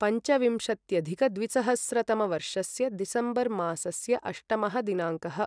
पञ्चविंशत्यधिकद्विसहस्रतमवर्षस्य December मासस्य अष्टमः दिनाङ्कः